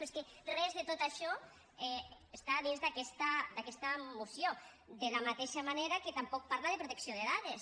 però és que res de tot això està dins d’aquesta moció de la mateixa manera que tampoc parla de protecció de dades